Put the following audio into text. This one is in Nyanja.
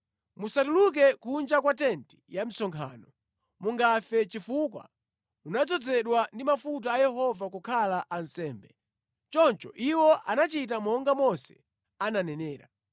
Musatuluke kunja kwa tenti ya msonkhano, mungafe, chifukwa munadzozedwa ndi mafuta a Yehova kukhala ansembe.” Choncho iwo anachita monga Mose ananenera.